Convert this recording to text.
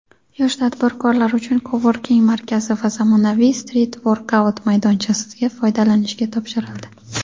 yosh tadbirkorlar uchun "Coworking" markazi va zamonaviy "Street workout"maydonchasi foydalanishga topshirildi.